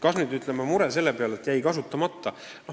Räägiti ka murest, et osa rahast jäi kasutamata.